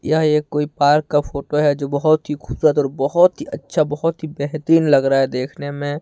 यह एक कोई पार्क का फोटो है जो बहुत ही खूबसूरत और बहुत ही अच्छा बहुत ही बेहतरीन लग रहा है देखने में।